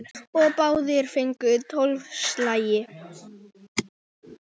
Og báðir fengu tólf slagi.